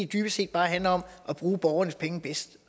dybest set bare handler om at bruge borgernes penge bedst